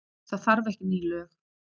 Það þarf ekki ný lög.